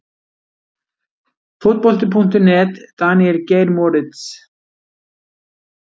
Fótbolti.net- Daníel Geir Moritz